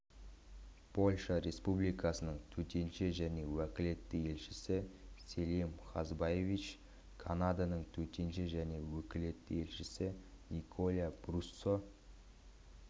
польша республикасының төтенше және өкілетті елшісі селим хазбиевич канаданың төтенше және өкілетті елшісі николя бруссо